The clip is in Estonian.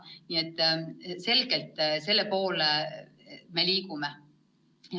Nii et selgelt selle poole me liigume.